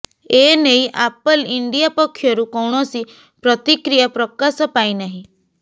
ଏ ନେଇ Apple India ପକ୍ଷରୁ କୌଣସି ପ୍ରତିକ୍ରିୟା ପ୍ରକାଶ ପାଇନାହିଁ